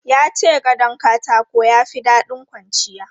Ya ce gadon katako ya fi daɗin kwanciya.